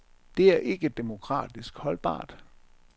Det er ikke demokratisk holdbart.